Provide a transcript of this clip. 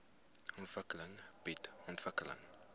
ontwikkeling bied ontwikkeling